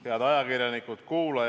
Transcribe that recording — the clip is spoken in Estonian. Head ajakirjanikud!